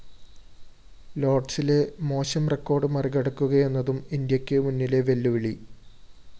ലോര്‍ഡ്‌സിലെ മോശം റെക്കോർഡ്‌ മറികടക്കുകയെന്നതും ഇന്ത്യയ്ക്കു മുന്നിലെ വെല്ലുവിളി